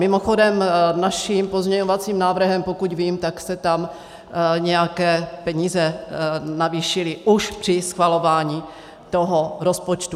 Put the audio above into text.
Mimochodem naším pozměňovacím návrhem, pokud vím, tak se tam nějaké peníze navýšily už při schvalování toho rozpočtu.